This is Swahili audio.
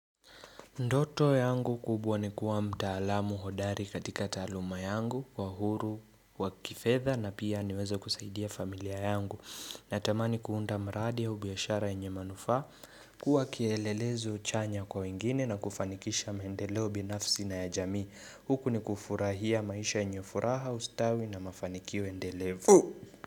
Ndoto yangu kubwa ni kuwa mtaalamu hodari katika taaluma yangu, uhuru wa kifedha, na pia niweze kusaidia familia yangu. Natamani kuunda mradi au biashara yenye manufaa. Kuwa kielelezo chanya kwa wengine na kufanikisha maendeleo binafsi na ya jamii. Huku ni kufurahia maisha yenye furaha, ustawi na mafanikio endelevu.